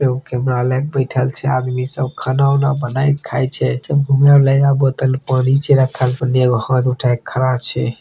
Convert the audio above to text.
एगो कैमरा लेक बैठल छै आदमी सब खाना-उना बनाय क खाए छै नया बोतल पानी छै रखल उन्ने एगो हाथ उठाई के खरा